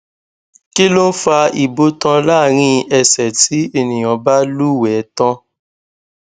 kilon fa ibotan larin ese ti eniyan ba luwe tan